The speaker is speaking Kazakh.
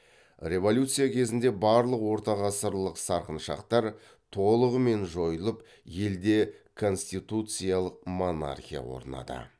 революция кезінде барлық ортағасырлық сарқыншақтар толығымен жойылып елде конституциялық монархия орнады